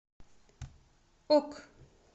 ок